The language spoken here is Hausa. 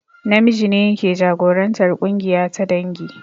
Namiji ne yake jagorantar ƙungiya ta dangi